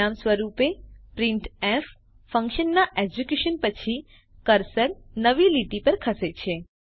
પરિણામ સ્વરૂપે પ્રિન્ટફ ફન્કશનના એક્ઝીક્યુશન પછી કર્સર નવી લીટી પર ખસે છે